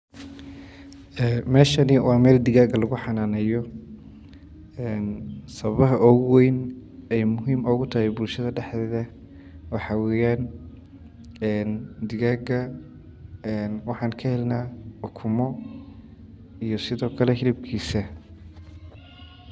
Ee meeshani waa meel digaaga lagu xanaaneeyo een sababaha ugu weyn ay muhiim ugu tahay bulshada dhexdooda waxaa weyaan digaaga een waxaan ka helnaa ukumo iyo sidoo kale hilibkisa.